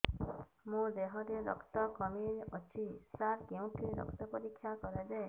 ମୋ ଦିହରେ ରକ୍ତ କମି ଅଛି ସାର କେଉଁଠି ରକ୍ତ ପରୀକ୍ଷା କରାଯାଏ